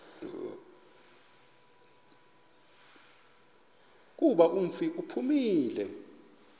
kuba umfi uphumile